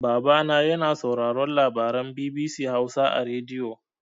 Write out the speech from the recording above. Babana yana sauraron labaran BBC Hausa a rediyo.